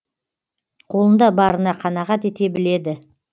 қолында барына қанағат ете біледі